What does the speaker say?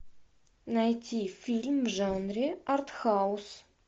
найти фильм в жанре артхаус